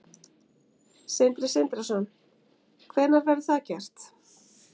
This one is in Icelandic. Sindri Sindrason: Hvenær verður það gert?